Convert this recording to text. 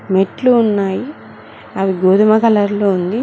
మెట్లు ఉన్నాయి అవి గోధుమ కలర్ లో ఉంది.